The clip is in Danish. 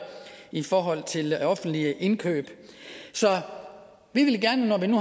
i forhold til offentlige indkøb så vi vil gerne når vi nu